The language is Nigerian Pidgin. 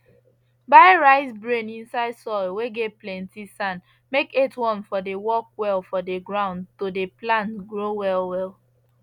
bury rice bran inside soil whey get plenty sand make earthworm for dey work well for the ground to the plant grow well well